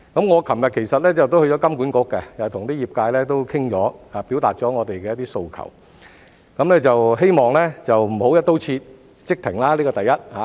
"我昨天其實亦到了金管局，與業界商討過，表達了我們的訴求，希望不要"一刀切"即停，這是第一點。